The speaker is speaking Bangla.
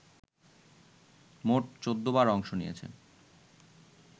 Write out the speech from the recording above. মোট ১৪ বার অংশ নিয়ে